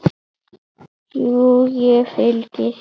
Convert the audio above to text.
Jú, ég fylgi þér.